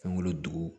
Fɛnw dugu